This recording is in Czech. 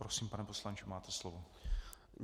Prosím, pane poslanče, máte slovo.